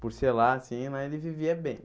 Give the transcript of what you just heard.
Por ser lá assim mas, ele vivia bem.